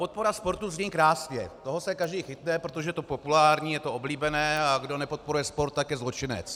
Podpora sportu zní krásně, toho se každý chytne, protože je to populární, je to oblíbené, a kdo nepodporuje sport, tak je zločinec.